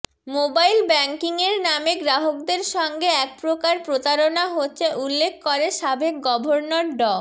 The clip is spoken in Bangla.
মোবাইল ব্যাংকিংয়ের নামে গ্রাহকদের সঙ্গে এক প্রকার প্রতারণা হচ্ছে উল্লেখ করে সাবেক গভর্নর ড